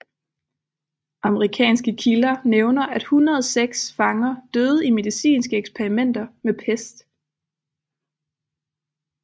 Amerikanske kilder nævner at 106 fanger døde i medicinske eksperimenter med pest